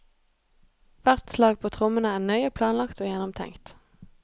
Hvert slag på trommene er nøye planlagt og gjennomtenkt.